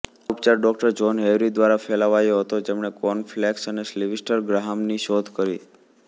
આ ઉપચાર ડૉ જહોન હેવરી દ્વારા ફેલાવાયો હતો જેમણે કોર્નફ્લેક્સ અને સીલ્વીસ્ટર ગ્રહામની શોધ કરી